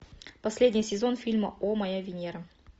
последний сезон фильма о моя венера